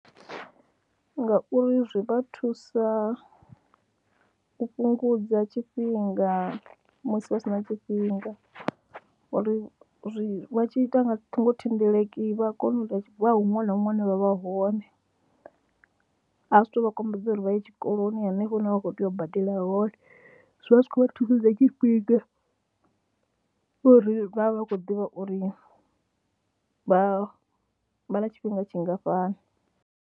Ngauri zwi vha thusa u fhungudza tshifhinga musi vha si na tshifhinga uri zwi vha tshi ita nga ṱhingothendeleki vha a kona u ita vha huṅwe na huṅwe hune vha vha hone, a zwi tou vha kombetshedza uri vha ye tshikoloni hanefho hune vha khou tea u badela hone, zwi vha zwi khou vha thusedza tshifhinga uri vha vha vha kho ḓivha uri vha vha na tshifhinga tshingafhani.